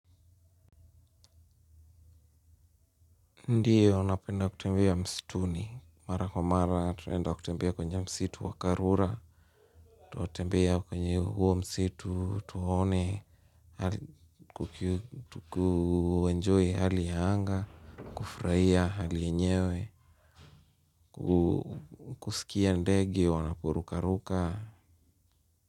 Ndiyo napenda kutembea msituni. Mara kwa mara tunaenda kutembea kwenye msitu wa karura, tunatembea kwenye huo msitu, tuone, kuenjoy hali ya anga, kufurahia ali yenyewe, kusikia ndege wanapurukaruka.